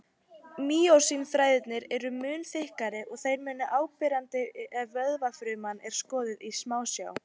Mýósín-þræðirnir eru mun þykkari og þeir eru áberandi ef vöðvafruma er skoðuð í smásjá.